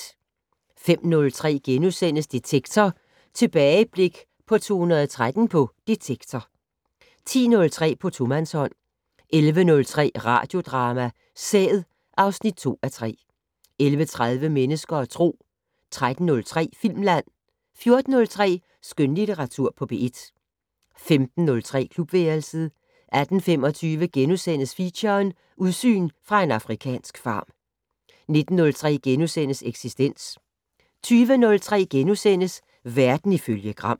05:03: Detektor: Tilbageblik på 2013 på "Detektor" * 10:03: På tomandshånd 11:03: Radiodrama: Sæd (2:3) 11:33: Mennesker og Tro 13:03: Filmland 14:03: Skønlitteratur på P1 15:03: Klubværelset 18:25: Feature: Udsyn fra en afrikansk farm * 19:03: Eksistens * 20:03: Verden ifølge Gram *